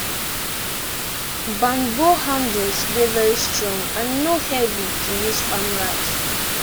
banbo handles dey very strong and e no heavy to use farm rice